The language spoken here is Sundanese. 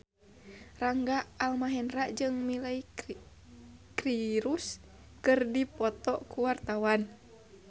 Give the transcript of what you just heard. Rangga Almahendra jeung Miley Cyrus keur dipoto ku wartawan